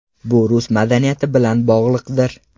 Bu rus madaniyati bilan bog‘liqdir.